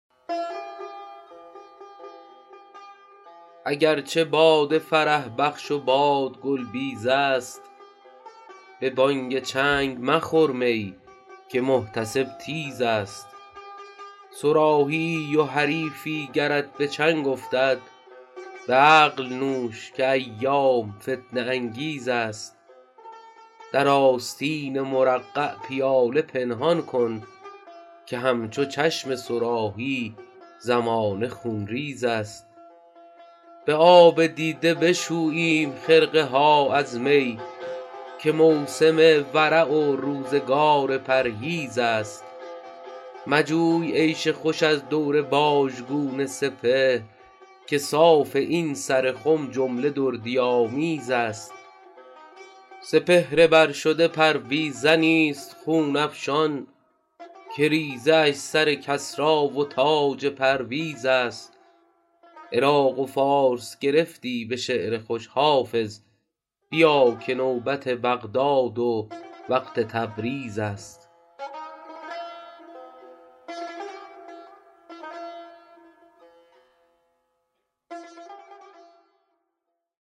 اگر چه باده فرح بخش و باد گل بیز است به بانگ چنگ مخور می که محتسب تیز است صراحی ای و حریفی گرت به چنگ افتد به عقل نوش که ایام فتنه انگیز است در آستین مرقع پیاله پنهان کن که همچو چشم صراحی زمانه خونریز است به آب دیده بشوییم خرقه ها از می که موسم ورع و روزگار پرهیز است مجوی عیش خوش از دور باژگون سپهر که صاف این سر خم جمله دردی آمیز است سپهر بر شده پرویزنی ست خون افشان که ریزه اش سر کسری و تاج پرویز است عراق و فارس گرفتی به شعر خوش حافظ بیا که نوبت بغداد و وقت تبریز است